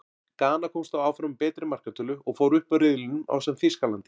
Gana komst þó áfram á betri markatölu, og fór upp úr riðlinum ásamt Þýskalandi.